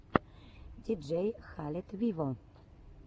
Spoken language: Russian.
диджей халед виво